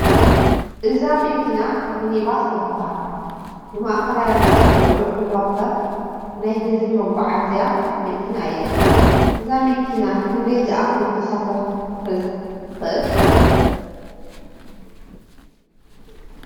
እዛ መኪና ሚኒባስ ትበሃል ንማእኸላይ ርሕቐት ጉዕዞ ትዋፈር ናይ ህዝቢ መጓዓዓዚ መኪና እያ፡፡ እዛ መኪና ክንደይ ዝኣኽሉ ተሳፈርቲ ክትሕዝ ትኽእል?